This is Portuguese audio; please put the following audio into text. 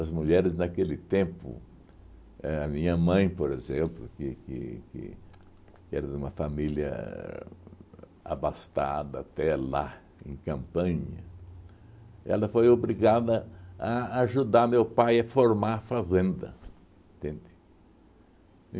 mulheres naquele tempo, éh a minha mãe, por exemplo, que que que era de uma família abastada até lá, em Campanha, ela foi obrigada a ajudar meu pai a formar a fazenda, entende?